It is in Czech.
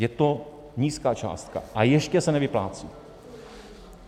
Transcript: Je to nízká částka, a ještě se nevyplácí.